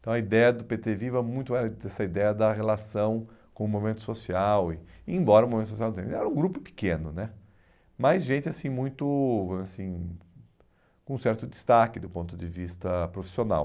Então a ideia do pê tê Viva muito era essa ideia da relação com o movimento social, e embora o movimento social não tenha, era um grupo pequeno né, mas gente assim muito assim com certo destaque do ponto de vista profissional.